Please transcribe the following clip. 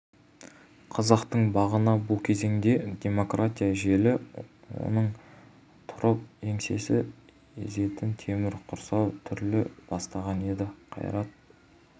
қазақтың бағына бұл кезеңде демократия желі оңынан тұрып еңсені езетін темір құрсау түріле бастаған еді қайрат